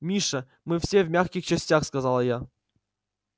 миша вы все в мягких частях сказал я